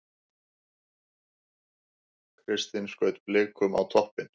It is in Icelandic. Kristinn skaut Blikum á toppinn